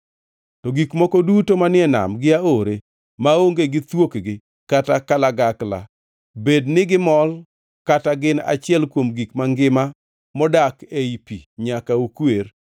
To gik moko duto manie nam gi aore maonge gi thuokgi kata kalagakla, bed nigimol kata gin achiel kuom gik mangima modak ei pi nyaka ukwer.